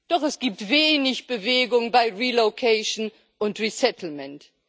Doch es gibt wenig Bewegung bei relocation und resettlement